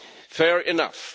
Fair enough.